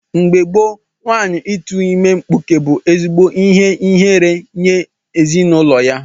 Mgbe gboo nwaanyị ịtu ime mkpụke bu ezigbo ihe ihere nye ezinụlọ ya.